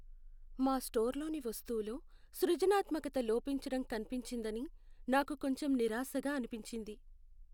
మా స్టోర్లోని వస్తువులో సృజనాత్మకత లోపించడం కనిపించిందని నాకు కొంచెం నిరాశగా అనిపించింది.